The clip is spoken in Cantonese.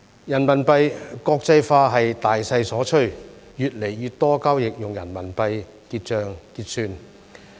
人民幣國際化是大勢所趨，越來越多交易用人民幣結算。